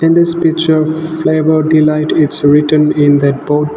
in this picture flavour delight its written in that board.